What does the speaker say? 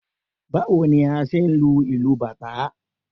Báwo ni a ṣe ń lu ìlù bàtá?